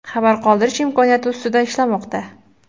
xabar qoldirish imkoniyati ustida ishlamoqda.